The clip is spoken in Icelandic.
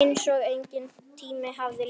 Einsog enginn tími hafi liðið.